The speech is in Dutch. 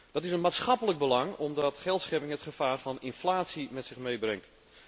Dat is een maatschappelijk belang, omdat geldschepping het gevaar van inflatie met zich meebrengt.